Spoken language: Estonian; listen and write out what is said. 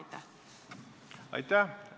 Aitäh!